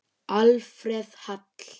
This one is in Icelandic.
Alfreð Hall.